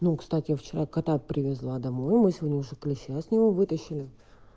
ну кстати вчера кота привезла домой мы сегодня уже клеща с него вытащили